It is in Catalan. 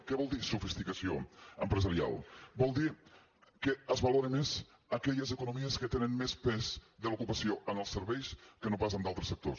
què vol dir sofisticació empresarial vol dir que es valoren més aquelles economies que tenen més pes de l’ocupació en els serveis que no pas en d’altres sectors